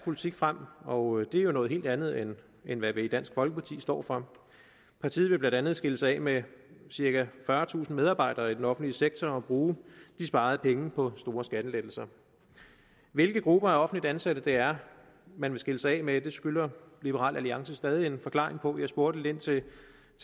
politik frem og det er jo noget helt andet andet end hvad vi i dansk folkeparti står for partiet vil blandt andet skille sig af med cirka fyrretusind medarbejdere i den offentlige sektor og bruge de sparede penge på store skattelettelser hvilke grupper af offentligt ansatte det er man vil skille sig af med skylder liberal alliance stadig en forklaring på jeg spurgte lidt ind til